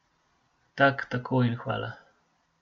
Tak tako, in hvala.